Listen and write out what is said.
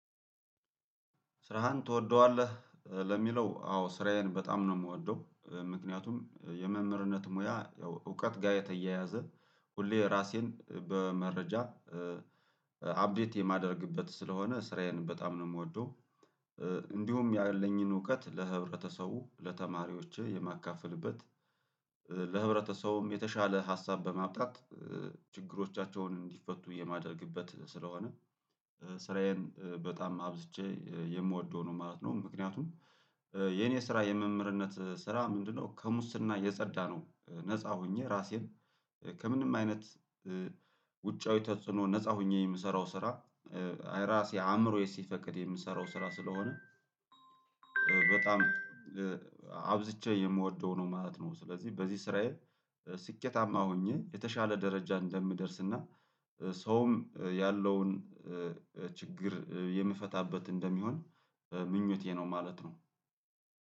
ስራህን ትወደዋለህ? ለሚለው አዎ ስራዬን በጣም ነው የምወደው ምክንያቱም የመምህርነት ሞያ ያው እውቀት ጋር የተያያዘ ሁሌ ራሴን በመረጃ አፕዴት የማደርግበት ስለሆነ ስራዬን በጣም ነው የምወደው። እንዲሁም ያለኝን እውቀት ለህብረተሰቡ ለተማሪዎች የማካፈልበት። ለህብረተሰቡም የተሻለ ሀሳብ በማብጣት ችግሮቻቸውን እንዲፈቱ የማደርግበት ስለሆነ ስራዬን በጣም አብዝቼ የምወደው ነው ማለት ነው። ምክንያቱም የኔ ስራ የመምህርነት ስራ ምንድነው? ከሙስና የጸዳ ነው ነፃ ሆኜ ራሴን ከምንም አይነት ውጫዊ ተጽዕኖ ነፃ ሆኜ የምሰራው ስራ። እራሴ አእምሮዬ ሲፈቅድ የምሰራው ስራ ስለሆነ በጣም አብዝቼ የምወደው ነው ማለት ነው። ስለዚህ በዚህ ስራዬ ስኬታማ ሆኜ የተሻለ ደረጃ እንደምደርስ እና ሰውም ያለውን ችግር የምፈታበት እንደሚሆን ምኞቴ ነው ማለት ነው